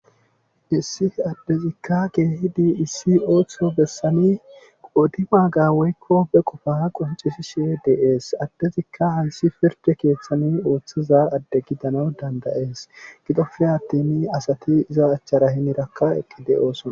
Issi adezikka keehidi issi ooso bessani qoodibaaga woykko be qofaa qonccisishe de7ees adezikka hayssi pirdde keethani oothiza adde gidanawu dandda7es gidoppe atini asati iza achara hinerakka eqqi de7oosona.